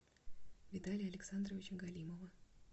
виталия александровича галимова